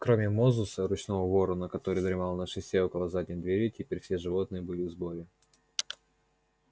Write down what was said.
кроме мозуса ручного ворона который дремал на шесте около задних дверей теперь все животные были в сборе